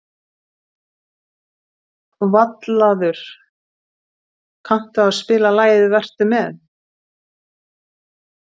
Vallaður, kanntu að spila lagið „Vertu með“?